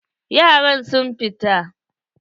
Yaran sun fita.